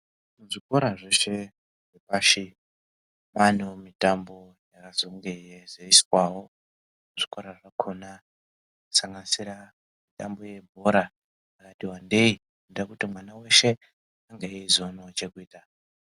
Muzvikora zveshe zvepashi ,kwaanewo mitambo yakazonge yeiizoswawo muzvikora zvakhona kusanganisira mitambo yebhora yakati wandei, kuitira kuti mwana weshe ange eizoonawo chekuita.